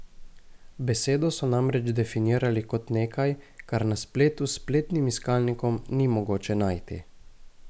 Besedo so namreč definirali kot nekaj, kar na spletu s spletnim iskalnikom ni mogoče najti.